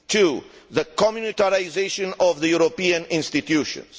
two, the communitarisation of the European institutions